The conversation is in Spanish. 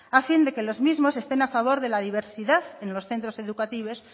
a fin de que los mismo estén a favor de la diversidad en los centro educativos